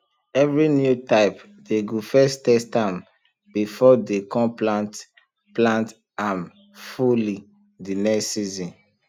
every new type dey go first test ahm before dey com plant plant ahm fully de next season